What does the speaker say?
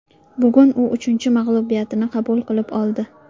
Bugun u uchinchi mag‘lubiyatini qabul qilib oldi.